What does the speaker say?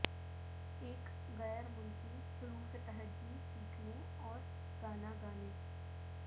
ایک غیر ملکی حروف تہجی سیکھنے اور گانا گانے